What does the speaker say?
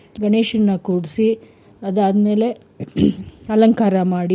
ಗಣೇಶನ್ನ ಕೂರ್ಸಿ ಅದಾದ್ ಮೇಲೆ ಅಲಂಕಾರ ಮಾಡಿ